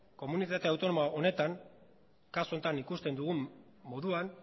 komunitate autonomo honetan kasu honetan ikusten dugun moduan